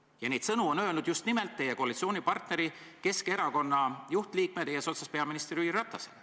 Ja neid sõnu on öelnud just nimelt teie koalitsioonipartneri Keskerakonna juhtliikmed eesotsas peaminister Jüri Ratasega.